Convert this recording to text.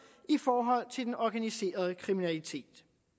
i forhold til den organiserede kriminalitet